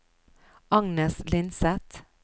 Agnes Lindseth